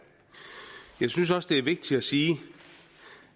jeg synes også det er vigtigt at sige